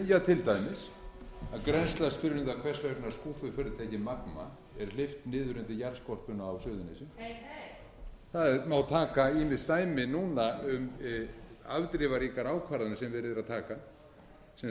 er hleypt niður undir jarðskorpuna á suðurnesjum heyr heyr það má taka ýmis dæmi núna um afdrifaríkar ákvarðanir sem verið er að taka sem